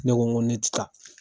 Ne ko n ko ne ti taa.